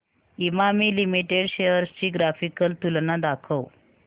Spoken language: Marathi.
इमामी लिमिटेड शेअर्स ची ग्राफिकल तुलना दाखव